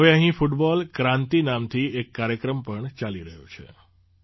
હવે અહીં ફૂટબૉલ ક્રાંતિ નામથી એક કાર્યક્રમ પણ ચાલી રહ્યો છે